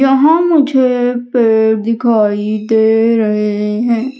यहां मुझे पेड़ दिखाई दे रहे हैं।